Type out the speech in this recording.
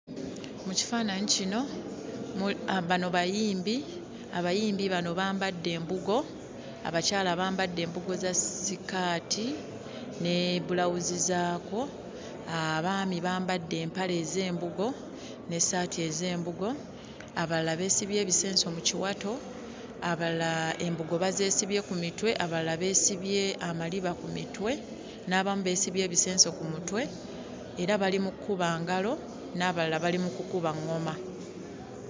Mu kifaananyi kino, bano bayimbi. Abayimbi bano bambadde embugo, abakyala bambadde embugo za sikaati ne bulawuzi zaakwo, abaami bambadde empale ez'embugo n'essaati ez'embugo, abalala beesibye ebisenso mu kiwato, abalala embugo bazeesibye ku mitwe, abalala beesibye amaliba ku mitwe n'abamu beesibye ebisenso ku mutwe era bali mu kkuba ngalo n'abalala bali mu kukuba ŋŋoma.